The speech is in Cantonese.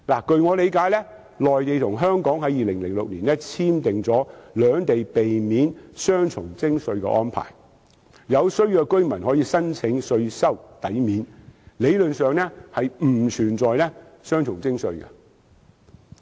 據我理解，內地和香港在2006年已簽署兩地避免雙重徵稅的安排，有需要的居民可以申請稅收抵免，理論上並不存在雙重徵稅。